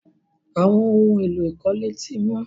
Àwọn ohun-èlò ìkọ́lé ti wọ́n.